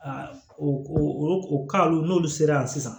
o ko o kali n'olu sera yan sisan